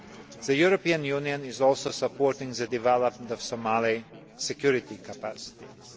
The European Union is also supporting the development of Somali security capacities.